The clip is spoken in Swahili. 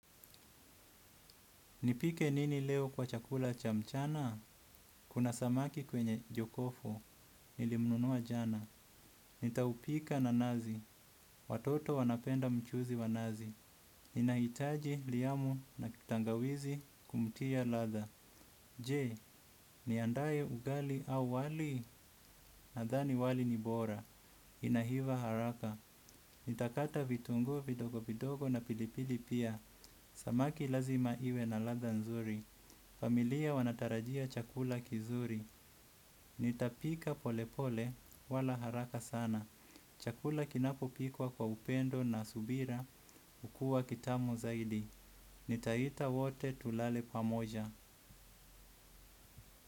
Nipike nini leo kwa chakula cha mchana? Kuna samaki kwenye jokofu, nilimnunua jana. Nitaupika na nazi, watoto wanapenda mchuzi wa nazi. Ninahitaji liyamu na tangawizi kumtia latha. Je, niandae ugali au wali, nadhani wali ni bora. Inaiva haraka nitakata vitunguu vidogo vidogo na pilipili pia. Samaki lazima iwe na latha nzuri. Familia wanatarajia chakula kizuri. Nitapika pole pole wala haraka sana. Chakula kinapopikwa kwa upendo na subira ukua kitamu zaidi. Nitaita wote tulale pamoja.